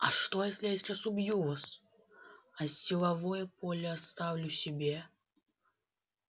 а что если я сейчас убью вас а силовое поле оставлю себе